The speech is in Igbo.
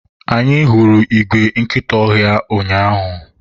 anyị hụrụ igwe nkịta ọhịa ụnyaahụ